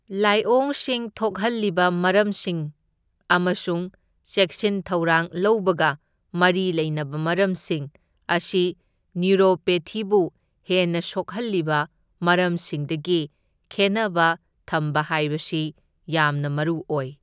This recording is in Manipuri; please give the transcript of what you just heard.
ꯂꯥꯏꯑꯣꯡꯁꯤꯡ ꯊꯣꯛꯍꯜꯂꯤꯕ ꯃꯔꯝꯁꯤꯡ ꯑꯃꯁꯨꯡ ꯆꯦꯛꯁꯤꯟ ꯊꯧꯔꯥꯡ ꯂꯧꯕꯒ ꯃꯔꯤ ꯂꯩꯅꯕ ꯃꯔꯝꯁꯤꯡ ꯑꯁꯤ ꯅ꯭ꯌꯨꯔꯣꯄꯦꯊꯤꯕꯨ ꯍꯦꯟꯅ ꯁꯣꯛꯍꯜꯂꯤꯕ ꯃꯔꯝꯁꯤꯡꯗꯒꯤ ꯈꯦꯟꯅꯕ ꯊꯝꯕ ꯍꯥꯏꯕꯁꯤ ꯌꯥꯝꯅ ꯃꯔꯨꯑꯣꯏ꯫